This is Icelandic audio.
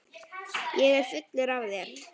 Ég er fullur af þér.